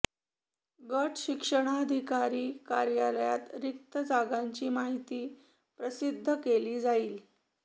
गट शिक्षणाधिकारी कार्यालयात रिक्त जागांची माहिती प्रसिद्ध केली जाईल